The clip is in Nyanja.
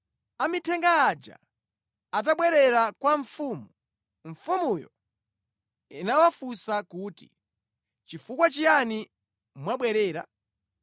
Amithenga aja atabwerera kwa mfumu, mfumuyo inawafunsa kuti, “Chifukwa chiyani mwabwerera?”